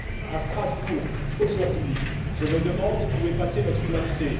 À Strasbourg, aujourd'hui, je me demande où est passée notre humanité?